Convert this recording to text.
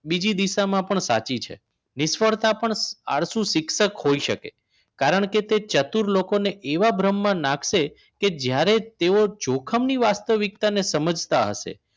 બીજી દિશામાં પણ સાચી છે નિષ્ફળતા પણ આળશુ શિક્ષક હોઈ શકે કારણ કે તે ચતુર લોકોને એવા બ્રહ્મા નાખશે કે જ્યારે તેઓ જોખમ ની વાસ્તવિકતાને સમજતા હશે